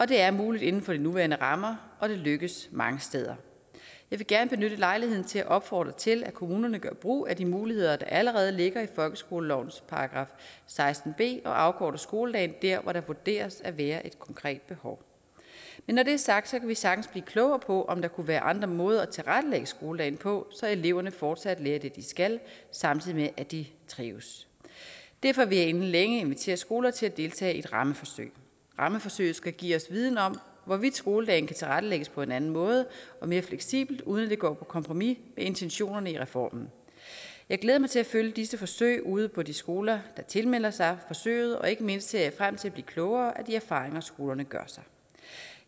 det er muligt inden for de nuværende rammer og det lykkes mange steder jeg vil gerne benytte lejligheden til at opfordre til at kommunerne gør brug af de muligheder der allerede ligger i folkeskolelovens § seksten b og afkorter skoledagen der hvor der vurderes at være et konkret behov men når det er sagt kan vi sagtens blive klogere på om der kunne være andre måder at tilrettelægge skoledagen på så eleverne fortsat lærer det de skal samtidig med at de trives derfor vil jeg inden længe invitere skoler til at deltage i et rammeforsøg rammeforsøget skal give os viden om hvorvidt skoledagen kan tilrettelægges på en anden måde og mere fleksibelt uden at vi går på kompromis med intentionerne i reformen jeg glæder mig til at følge disse forsøg ude på de skoler der tilmelder sig forsøget og ikke mindst ser jeg frem til at blive klogere af de erfaringer skolerne gør sig